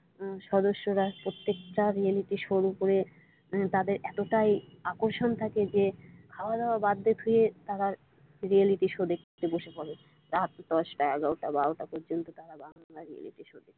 সদস্যরা প্রত্যেকটা রিয়েলিটিশো এর উপরে তাদের এতটাই আকর্ষণ থাকে যে খাওয়া দাওয়া বাদ দিয়ে তারা রিয়েলিটিশো দেখতে বসে পরে রাত দশটা এগারোটা বারোটা পর্যন্ত তারা বাংলা রিয়েলিটিশো দেখে।